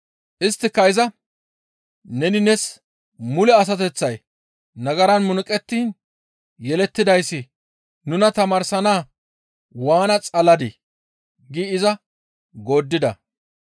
Isttika iza, «Neni nees mule asateththay nagaran munuqettiin yelettidayssi nuna tamaarsana waana xaladii?» giidi iza gooddida.